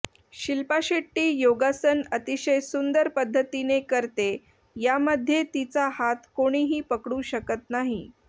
शिल्पा शेट्टी योगासन अतिशय सुंदर पद्धतीने करते यामध्ये तिचा हात कोणीही पकडू शकत नाही